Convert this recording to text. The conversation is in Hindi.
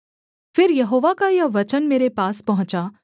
फिर यहोवा का यह वचन मेरे पास पहुँचा